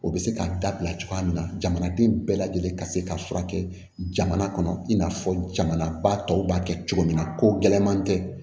O bɛ se ka dabila cogoya min na jamanaden bɛɛ lajɛlen ka se ka furakɛ jamana kɔnɔ i n'a fɔ jamanaba tɔw b'a kɛ cogo min na ko gɛlɛman tɛ